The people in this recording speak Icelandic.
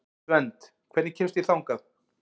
Svend, hvernig kemst ég þangað?